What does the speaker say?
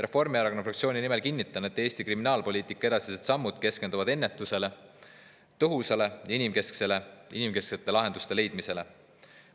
Reformierakonna fraktsiooni nimel kinnitan, et Eesti kriminaalpoliitika edasised sammud keskenduvad ennetusele ning tõhusate ja inimesekesksete lahenduste leidmisele.